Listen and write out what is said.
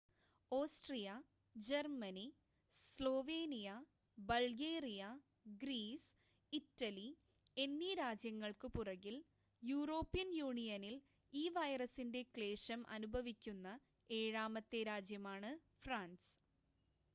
Austria Germany Slovenia Bulgaria Greece Italy എന്നീ രാജ്യങ്ങൾക്കു പുറകിൽ, യൂറോപ്യൻ യൂണിയനിൽ ഈ വൈറസിന്റെ ക്ലേശം അനുഭവിക്കുന്ന ഏഴാമത്തെ രാജ്യമാണ് ഫ്രാൻസ്